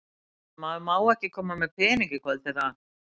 Sunna: En maður má ekki koma með peninga í kvöld, eða?